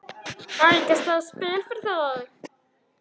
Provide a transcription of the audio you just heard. Á ég ekki að slá í spil fyrir þig?